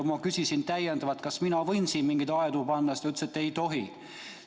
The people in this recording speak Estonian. Ma küsisin täiendavalt, kas mina võin siia mingeid aedu panna, ta ütles, et ei tohi.